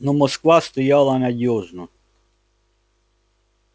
но москва стояла надёжно